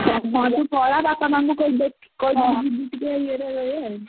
ହଁ ତୁ ପଳା ବାପା ମା ଙ୍କୁ କହିକି ଯିବୁ ଟିକେ ଇଏ ରେ।